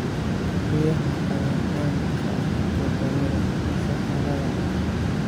Riyaha ayaa caan ka ah wadamada saxaraha ah.